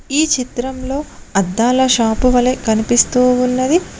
ఈ చిత్రంలో అద్దాల షాపు వలె కనిపిస్తూ ఉన్నది.